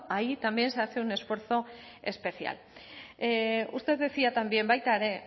ahí también se hace un esfuerzo especial usted decía también baita ere